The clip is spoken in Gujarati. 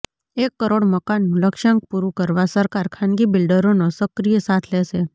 એક કરોડ મકાનનું લક્ષ્યાંક પુરૂકરવા સરકાર ખાનગી બિલ્ડરોનો સક્રિય સાથ લેશે